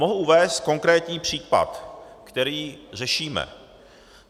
Mohu uvést konkrétní případ, který řešíme.